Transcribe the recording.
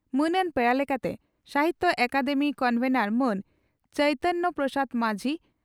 ᱢᱟᱹᱱᱟᱱ ᱯᱮᱲᱟ ᱞᱮᱠᱟᱛᱮ ᱥᱟᱦᱤᱛᱭᱚ ᱟᱠᱟᱫᱮᱢᱤ ᱠᱚᱱᱵᱷᱮᱱᱚᱨ ᱢᱟᱱ ᱪᱟᱭᱛᱟᱱ ᱯᱨᱚᱥᱟᱫᱽ ᱢᱟᱡᱷᱤ